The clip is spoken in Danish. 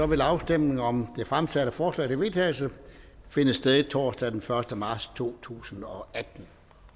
vil afstemning om det fremsatte forslag til vedtagelse finde sted torsdag den første marts totusinde og attende